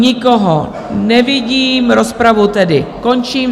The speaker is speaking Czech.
Nikoho nevidím, rozpravu tedy končím.